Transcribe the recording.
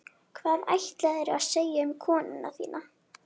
Hvað ætlaðirðu að segja um konuna þína?